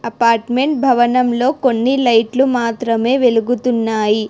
Apartment భవనంలో కొన్ని లైట్లు మాత్రమే వెలుగుతున్నాయి.